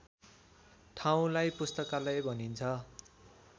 ठाउँलाई पुस्तकालय भनिन्छ